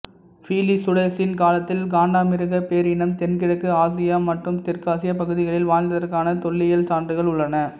பிலிசுடோசின் காலத்தில் காண்டமிருகப் பேரினம் தென்கிழக்கு ஆசியா மற்றும் தெற்காசிய பகுதிகளில் வாழ்ந்ததற்கான தொல்லியல் சான்றுகள் உள்ளன